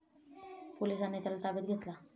पोलिसांनी त्याला ताब्यात घेतला.